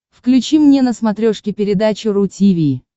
включи мне на смотрешке передачу ру ти ви